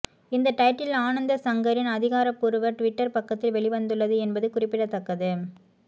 இந்த டைட்டில் ஆனந்த்சங்கரின் அதிகாரபூர்வ டுவிட்டர் பக்கத்தில் வெளிவந்துள்ளது என்பது குறிப்பிடத்தக்கது